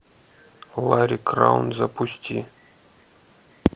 ларри краун запусти